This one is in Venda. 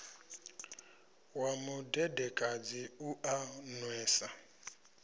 wa mudedekadzi u a nwesa